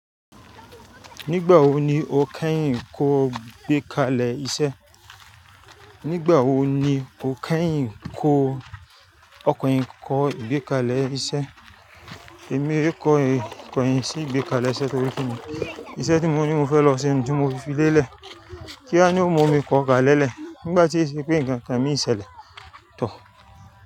Nígbà wo ni o kẹ́yìn kó gbé kalẹ iṣẹ́? Nígbà wo ni o kẹ́yìn kó, ọkùnrin kó ìgbékalẹ̀ iṣẹ́? Èmi lè kọ́ ìkọ̀yìn sí ìgbékalẹ̀ iṣẹ́ torí pé iṣẹ́ tí mo ní mo fẹ́ lọ ṣe ni tí mo fi lélẹ̀. Kía ni ó mu mi kọ̀ kalẹ̀lẹ̀ nígbà tí ó ṣe pé nǹkan kan mí ṣẹlẹ̀ toor.